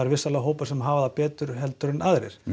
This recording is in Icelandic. vissulega hópar sem hafa það betra en aðrir